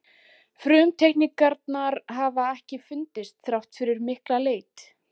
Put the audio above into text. Frumteikningar hafa ekki fundist þrátt fyrir mikla leit.